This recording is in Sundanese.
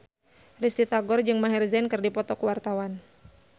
Risty Tagor jeung Maher Zein keur dipoto ku wartawan